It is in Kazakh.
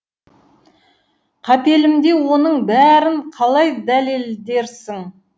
қапелімде оның бәрін қалай дәлелдерсің